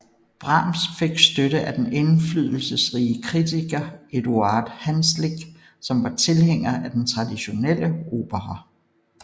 Brahms fik støtte af den indflydelsesrige kritiker Eduard Hanslick som var tilhænger af den traditionelle opera